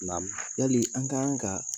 Namu yali an kan ka